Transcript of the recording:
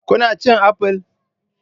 Kuna cin apple?